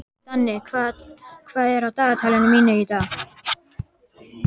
Danni, hvað er á dagatalinu mínu í dag?